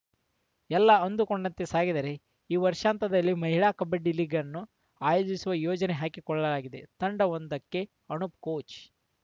ಎಲ್ಲ ಅಂದುಕೊಂಡಂತೆ ಸಾಗಿದರೇ ಈ ವರ್ಷಾಂತ್ಯದಲ್ಲಿ ಮಹಿಳಾ ಕಬಡ್ಡಿ ಲೀಗ್‌ನ್ನು ಆಯೋಜಿಸುವ ಯೋಜನೆ ಹಾಕಿಕೊಳ್ಳಲಾಗಿದೆ ತಂಡವೊಂದಕ್ಕೆ ಅನೂಪ್‌ ಕೋಚ್‌